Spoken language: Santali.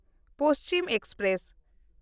ᱯᱚᱥᱪᱤᱢ ᱮᱠᱥᱯᱨᱮᱥ